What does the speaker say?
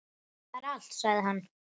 Það er allt, sagði hann.